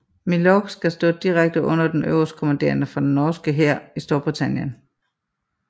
Milorg skal stå direkte under den øverstkommanderende for den norske hær i Storbritannien